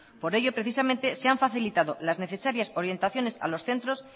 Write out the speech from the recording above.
por ello precisamente se han facilitado las necesarias orientaciones a los centros